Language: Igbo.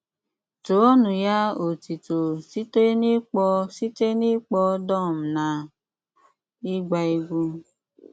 Toónú yá ótútó síté n’ị́kpọ́ síté n’ị́kpọ́ dọ́m ná ígba égwú.